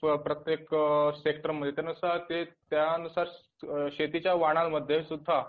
किंवा प्रत्येक सेक्टर माहितीनुसार त्यानुसार शेतीच्या वाणांमध्ये सुद्धा